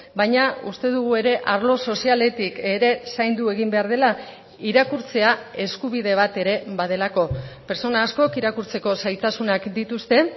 baina uste dugu ere arlo sozialetik ere zaindu egin behar dela irakurtzea eskubide bat ere badelako pertsona askok irakurtzeko zailtasunak dituzte